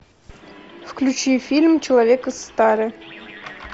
включи фильм человек из стали